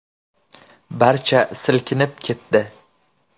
Barcha silkinib ketdi.